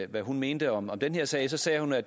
hvad hun mente om den sag sagde hun at